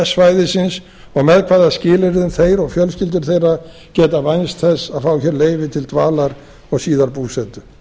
svæðisins og með hvaða skilyrðum þeir og fjölskyldur þeirra geta vænst þess að fá hér leyfi til dvalar og síðan búsetu